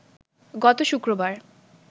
গত শুক্রবার